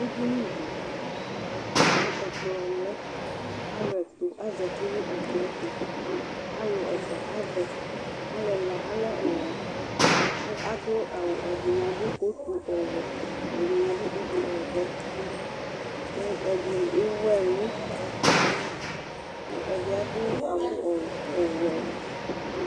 Ɛdiní di kʋ ɛkplɔ lɛ Alu ɛtu azɛti nu ɛkplɔ yɛ tu Alu ɛfʋa avɛ Alu ɛla alɛ ɔwɛ kʋ adu awu Ɛdiní adu kotu ɔwɛ Ɛdiní kotu ɔvɛ kʋ ɛdiní ɛwu ɛlu Ɛdí adu awu ɔwɛ